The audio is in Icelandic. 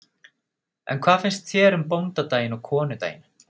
En hvað finnst þér um bóndadaginn og konudaginn?